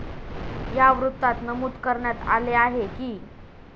या वृत्तात नमूद करण्यात आले आहे की,